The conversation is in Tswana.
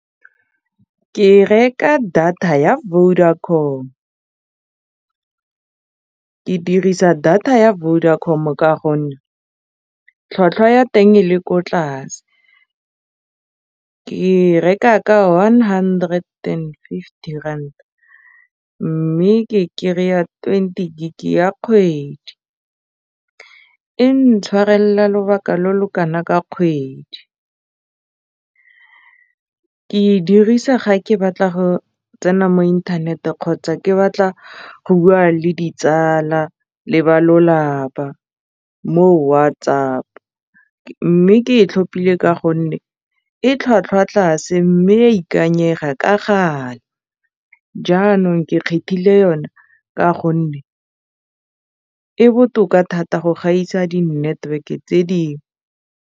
Ke reka data ya Vodacom ke dirisa data ya Vodacom ka gonne tlhwatlhwa ya teng e le ko tlase ke reka ke one hundred and fifty rand mme ke kry-a twenty gig ya kgwedi e ntshwarelela lobaka lo lo kana ka kgwedi ke e dirisa ga ke batla go tsena mo inthaneteng kgotsa ke batla go bua le ditsala le ba lolapa mo WhatsApp mme ke e tlhophile ka gonne e tlhwatlhwa tlase mme ya ikanyega ka kgale jaanong ke khethile yone ka gonne e botoka thata go gaisa di network-e tse dingwe.